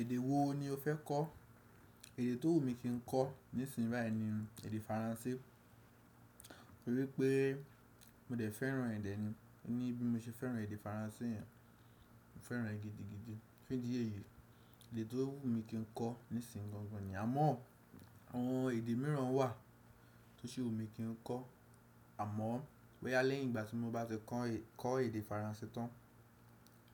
Èdè wo ni o fẹ́ kọ́? Èdè tó wù mí kí n kọ́ nísinsìnyí bayii ni èdè Faransé, torípé mo dẹ̀ fẹ́ràn ẹ̀dẹ̀ ni, níbí mo ṣe fẹ́ràn èdè Faransé yẹn, mo fẹ́ràn ẹ́ gidigidi. Fídí e yìí, èdè tó wù mí kí n kọ́ nísinsíyì gangan niyen, àmọ́ àwọn èdè mìíràn wà tó ṣi wù mí kí n kọ́. Àmọ́ boyá lẹ́yìn ìgbà tí mo bá ti kọ́ n e, ko èdè Faransé tán,